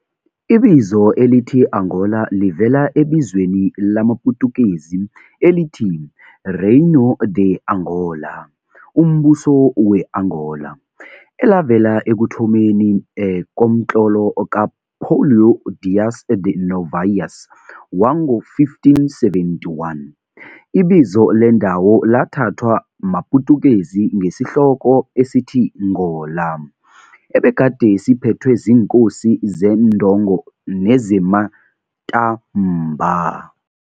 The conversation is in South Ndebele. Ibizo elithi Angola livela ebizweni lamaPutukezi elithi Reino de Angola, 'Umbuso we-Angola', elavela ekuthomeni komtlolo ka-Paulo Dias de Novais wango-1571. Ibizo lendawo lathathwa maPutukezi ngesihloko esithi ngola, ebegade siphethwe ziinkosi zeNdongo nezeMatamba.